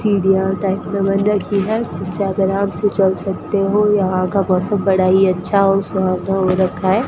सीढ़ियां टाइप में बन रखी है जिसपे आप आराम से चल सकते हो यहां का मौसम बड़ा ही अच्छा और सुहाना हो रखा है।